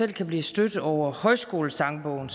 kan blive stødt selv over højskolesangbogen